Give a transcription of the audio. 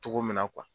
Cogo min na